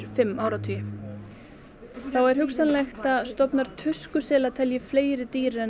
fimm áratugum þá er hugsanlegt að stofn telji fleiri dýr en